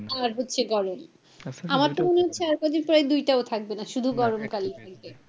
শীত আর হচ্ছে গরম আমার তো মনে হচ্ছে আর কদিন পরে এই দুইটাও থাকবে না শুধু গরমকালই থাকবে।